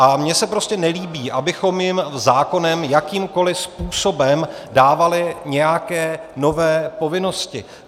A mně se prostě nelíbí, abychom jim zákonem jakýmkoliv způsobem dávali nějaké nové povinnosti.